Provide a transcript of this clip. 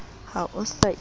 ha o sa ithuti o